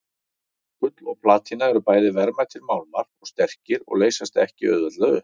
Gull og platína eru bæði verðmætir málmar og sterkir og leysast ekki auðveldlega upp.